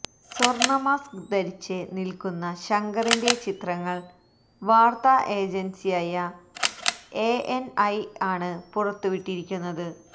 സ്വര്ണ mask ധരിച്ച് നില്ക്കുന്ന ശങ്കറിന്റെ ചിത്രങ്ങള് വാര്ത്ത ഏജന്സിയായ എഎന്ഐ ആണ് പുറത്തുവിട്ടിരിക്കുന്നത്